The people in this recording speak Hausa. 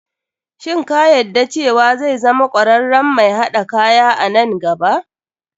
Shin ka yadda cewa zai zama kwararren mai haɗa kaya a nn gaba.